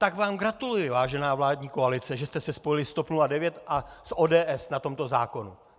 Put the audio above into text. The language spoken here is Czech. Tak vám gratuluji, vážená vládní koalice, že jste se spojili s TOP 09 a s ODS na tomto zákonu.